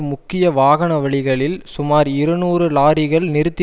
முக்கிய வாகனவழிகளில் சுமார் இருநூறு லாரிகள் நிறுத்தி